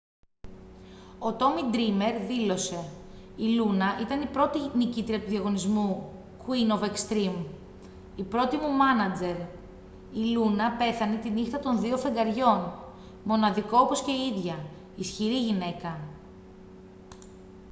ο τόμι ντρήμερ δήλωσε: «η λούνα ήταν η πρώτη νικήτρια του διαγωνισμού queen of extreme. η πρώτη μου μάνατζερ. η λούνα πέθανε τη νύχτα των δύο φεγγαριών. μοναδικό όπως και η ίδια. ισχυρή γυναίκα.»